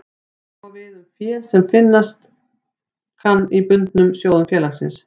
Sama á við um fé sem finnast kann í bundnum sjóðum félagsins.